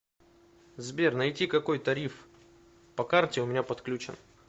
сбер найти какой тариф по карте у меня подключен